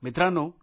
मित्रांनो